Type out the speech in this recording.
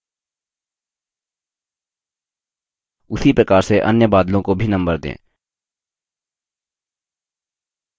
उसी प्रकार से अन्य बादलों को भी number दें